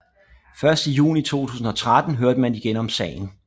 Først i juni 2013 hørte man igen om sagen